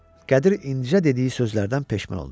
Qədir incə dediyi sözlərdən peşman oldu.